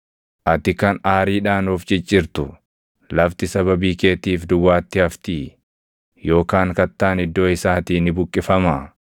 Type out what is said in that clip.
Ati kan aariidhaan of ciccirtu, lafti sababii keetiif duwwaatti haftii? Yookaan kattaan iddoo isaatii ni buqqifamaa?